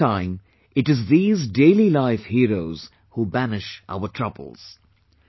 At that time, it is these daily life heroes who banish our troubles